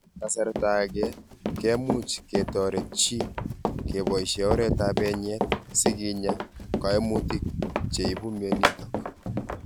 kasarta age kemuuch ketoret �chi keboishe oreet ap enyeet siginyaa �kaimutik cheibu mionitok.